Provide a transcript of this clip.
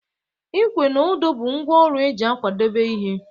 Ikwe na odo bụ ngwa ọrụ eji akwadebe ihe